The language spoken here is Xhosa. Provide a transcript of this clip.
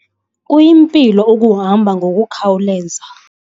Kuyimpilo ukuhamba ngokukhawuleza.